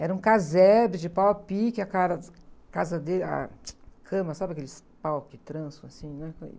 Era um casebre de pau a pique, a, casa dele, a cama, sabe aqueles pau que trançam assim, né?